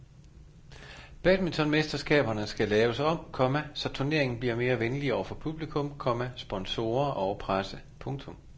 Badmintonmesterskaberne skal laves om, komma så turneringen bliver mere venlig over for publikum, komma sponsorer og presse. punktum